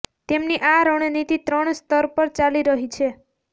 તેમની આ રણનીતિ ત્રણ સ્તર પર ચાલી રહી છે